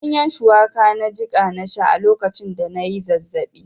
Ganyen shuwaka na jiƙa na sha a lokacin da na yi zazzaɓi.